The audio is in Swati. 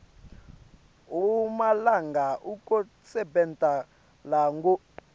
emalanga ekusebenta langu